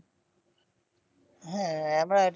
হ্যাঁ আমরা ঐটা